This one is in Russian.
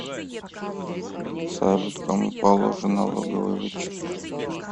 салют кому положен налоговый вычет